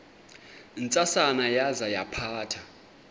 ntsasana yaza yaphatha